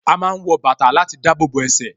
A máa ń wọ bàtà láti dábòbò ẹsẹ̀